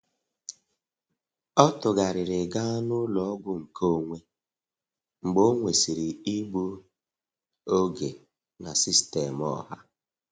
Ọ tụgharịrị gaa n'ụlọọgwụ nkeonwe mgbe ọ nwesịrị igbu oge na sistemụ ọha.